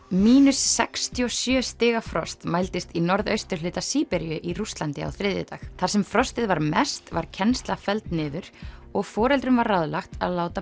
sextíu og sjö stiga frost mældist í norðausturhluta Síberíu í Rússlandi á þriðjudag þar sem frostið var mest var kennsla fellt niður og foreldrum var ráðlagt að láta